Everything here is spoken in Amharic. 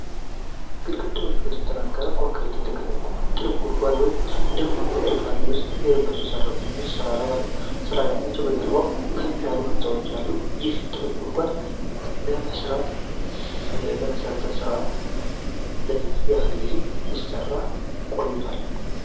ግድግዳዎቹ በተጠናከረ ኮንክሪት የተገደቡ በጥልቅ ጉድጓድ ውስጥ ደማቅ ብርቱካንማ ልብስ የለበሱ ሰራተኞች ስራ ላይ ናቸው። በጀርባው ከፍ ያሉ ህንፃዎች አሉ። ይህ ጥልቅ ጉድጓድ ለመሠረት ሥራ ነው? ለምን ያህል ጊዜ ሲሰራ ቆይቷል?